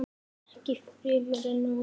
Ekki fremur en áður.